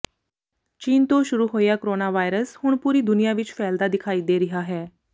ਚੀਨ ਤੋਂ ਸ਼ੁਰੂ ਹੋਇਆ ਕੋਰੋਨਾ ਵਾਇਰਸ ਹੁਣ ਪੂਰੀ ਦੁਨੀਆ ਵਿਚ ਫੈਲਦਾ ਦਿਖਾਈ ਦੇ ਰਿਹਾ ਹੈ